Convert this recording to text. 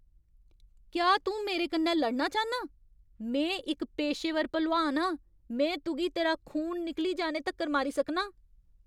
क्या तूं मेरे कन्नै लड़ना चाह्न्नां? में इक पेशेवर भलोआन आं ! में तुगी तेरा खून निकली जाने तक्कर मारी सकनां ।